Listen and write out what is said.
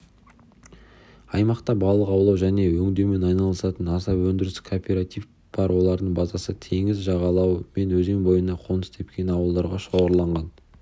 аймақта балық аулау және өңдеумен айналысатын аса өндірістік кооператив бар олардың базасы теңіз жағалауы мен өзен бойына қоныс тепкен ауылдарға шоғырланған